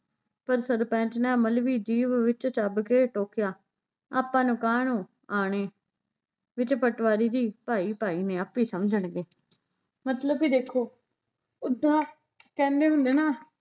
ਪਰ ਸਰਪੰਚ ਨੇ ਮਲਵੀ ਜੀਭ ਵਿੱਚ ਚੱਭ ਕੇ ਟੋਕਿਆ ਆਪਾਂ ਨੂੰ ਕਾਹਨੂੰ ਆਣੈ, ਵਿੱਚ ਪਟਵਾਰੀ ਜੀ ਭਾਈ ਭਾਈ ਨੇ ਆਪੇ ਸਮਝਣਗੇ ਮਤਲਬ ਵੀ ਦੇਖੋ ਓਦਾਂ ਕਹਿੰਦੇ ਹੁੰਦੇ ਨਾ